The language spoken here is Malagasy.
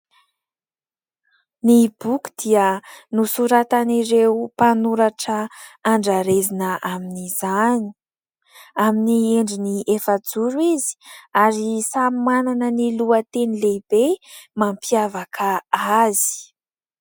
Ny boky dia nosoratan'ireo mpanoratra andrarezina amin'izany. Amin'ny endriny efajoro izy ary samy manana ny lohateny lehibe mampiavaka azy.